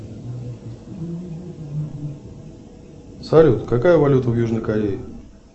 салют какая валюта в южной корее